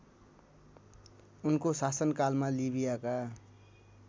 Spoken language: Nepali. उनको शासनकालमा लिबियाका